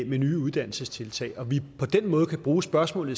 med nye uddannelsestiltag så vi på den måde kan bruge spørgsmålet